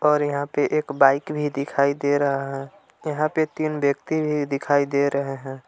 और यहाँ पे एक बाइक भी दिखाई दे रहा है यहाँ पे तीन व्यक्ति भी दिखाई दे रहे हैं।